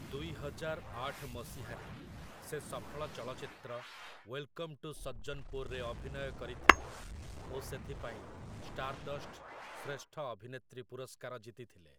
ଦୁଇହଜାର ଆଠ ମସିହାରେ ସେ ସଫଳ ଚଳଚ୍ଚିତ୍ର 'ୱେଲ୍‌କମ୍‌ ଟୁ ସଜ୍ଜନ୍‌ପୁର୍' ରେ ଅଭିନୟ କରିଥିଲେ ଓ ସେଥିପାଇଁ ଷ୍ଟାର୍‌ଡଷ୍ଟ ଶ୍ରେଷ୍ଠ ଅଭିନେତ୍ରୀ ପୁରସ୍କାର ଜିତିଥିଲେ ।